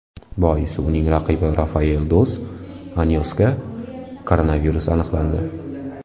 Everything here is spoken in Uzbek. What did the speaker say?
Boisi uning raqibi Rafael dos Anyosga koronavirus aniqlandi .